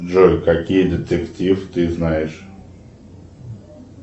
джой какие детектив ты знаешь